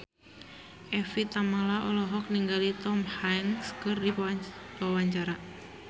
Evie Tamala olohok ningali Tom Hanks keur diwawancara